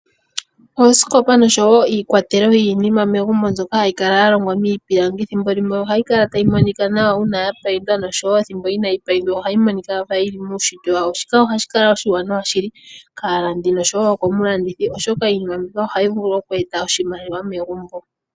Oosikopa oshoo iikwatelo yimwe yili megumbo mbyoka hayi kala ya longwa miipilangi. Thimbo limwe ohayi kala tayi monika nawa uuna ya payindwa osho woo ethimbo inaayi payindwa ohayi monika kaayili muunshitwe wayo. Shika ohashi kala oshiwanawa shili kaalandi nosho woo komulandithi oshoka iinima mbika ohayi vulu oku eta oshimaliwa megumbo.